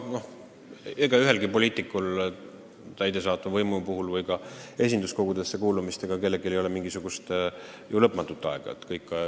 Ega ühelgi poliitikul, olgu tegu täidesaatva võimuga või esinduskogusse kuulumisega, pole lõputut ametiaega.